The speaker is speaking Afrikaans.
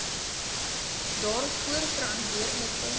daarvoor verantwoordelik om